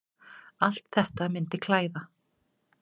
Allt þetta myndi klæða